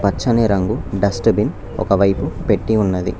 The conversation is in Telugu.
పచ్చని రంగు డస్ట్బిన్ ఒక వైపు పెట్టీ ఉన్నది.